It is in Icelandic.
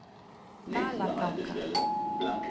Dalatanga